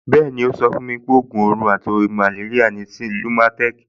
Bẹ́ẹ̀ni, ó sọ fún mi pé ògùn ibà àti màléríà ni lumatem